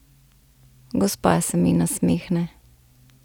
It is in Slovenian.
Gospa se mi nasmehne.